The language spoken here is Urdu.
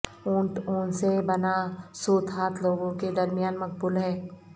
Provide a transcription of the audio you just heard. اونٹ اون سے بنا سوت ہاتھ لوگوں کے درمیان مقبول ہے